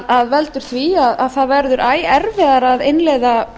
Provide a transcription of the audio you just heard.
sem veldur því að það verður æ erfiðara að innleiða